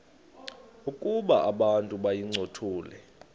ukuba abantu bayincothule